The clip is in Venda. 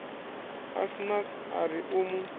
asnath a ri u mu